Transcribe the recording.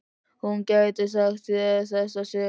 Hún gæti sagt þér þessa sögu.